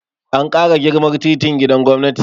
An ƙara girman titin gidan gwamnati